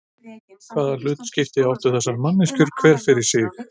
Hvaða hlutskipti áttu þessar manneskjur hver fyrir sig?